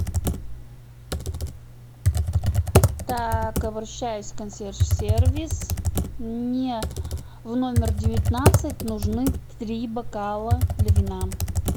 так обращаюсь в консьерж сервис мне в номер девятнадцать нужны три бокала для вина